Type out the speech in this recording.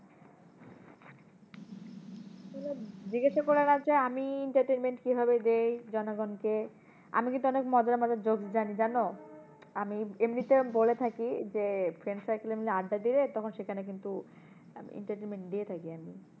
জিজ্ঞেসা করার আছে আমি entertainment কিভাবে দেই জনগণকে? আমি কিন্তু অনেক মজার মজার jokes জানি জানো? আমি এমনিতেও বলে থাকি যে friend circle এর মধ্যে আড্ডা দিলে তখন সেখানে কিন্তু আমি entertainment দিয়ে থাকি আমি।